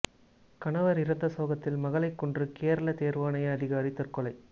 கணவர் இறந்த சோகத்தில் மகளைக் கொன்று கேரள தேர்வாணைய அதிகாரி தற்கொலை